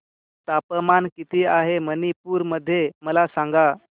तापमान किती आहे मणिपुर मध्ये मला सांगा